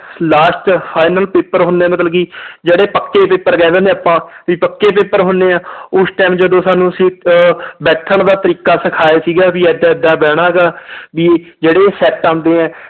Last final paper ਹੁੰਦੇ ਹੈ ਮਤਲਬ ਕਿ ਜਿਹੜੇ ਪੱਕੇ paper ਕਹਿ ਦਿੰਦੇ ਹਾਂ ਆਪਾਂ ਵੀ ਪੱਕੇ paper ਹੁੰਦੇ ਆ ਉਸ time ਜਦੋਂ ਸਾਨੂੰ ਅਸੀਂ ਅਹ ਬੈਠਣ ਦਾ ਤਰੀਕਾ ਸਿਖਾਇਆ ਸੀਗਾ ਵੀ ਏਦਾਂ ਏਦਾਂ ਬਹਿਣਾ ਗਾ ਵੀ ਜਿਹੜੇ set ਆਉਂਦੇ ਹੈ